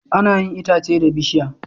Ana yin itace da bishiya